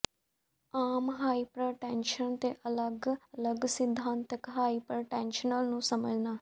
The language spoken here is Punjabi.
ਆਮ ਹਾਈਪਰਟੈਨਸ਼ਨ ਅਤੇ ਅਲਗ ਅਲਗ ਸਿਧਾਂਤਕ ਹਾਈਪਰਟੈਨਸ਼ਨ ਨੂੰ ਸਮਝਣਾ